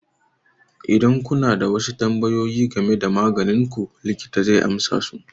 Idan kuna da wasu tambayoyi game da maganin ku, likita zai amsa su.